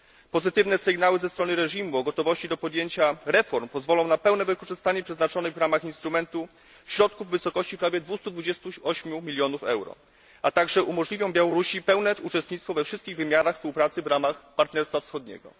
Pozytywne sygnały ze strony reżimu o gotowości do podjęcia reform pozwolą na pełne wykorzystanie przeznaczonych w ramach instrumentu środków w wysokości 228 milionów euro, a także umożliwią Białorusi pełne uczestnictwo we wszystkich wymiarach współpracy w ramach partnerstwa wschodniego.